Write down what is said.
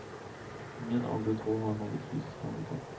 Ingen av de två har något fysiskt handikapp.